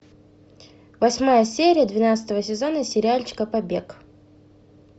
восьмая серия двенадцатого сезона сериальчика побег